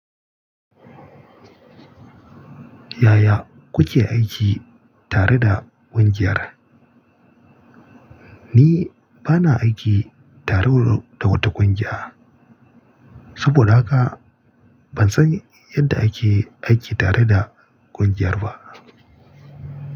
Yaya kuke aiki tare da ƙungiyar? Ni bana aiki tare da wata ƙungiya, saboda haka ban san yadda ake aiki tare da ƙungiyar ba.